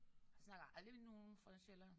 Jeg snakker aldrig med nogen fra Sjælland